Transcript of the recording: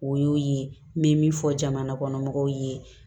O y'o ye n bɛ min fɔ jamana kɔnɔ mɔgɔw ye